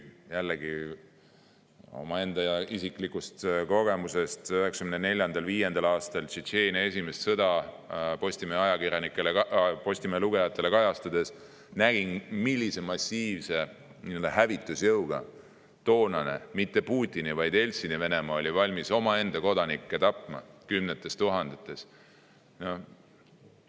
Jällegi, omaenda isiklikust kogemusest võin öelda, et 1994.–1995. aastal Tšetšeenia esimest sõda Postimehe lugejatele kajastades nägin, millise massiivse hävitusjõuga toonane Venemaa – mitte Putini, vaid Jeltsini Venemaa – oli valmis omaenda kodanikke tapma kümnete tuhandete kaupa.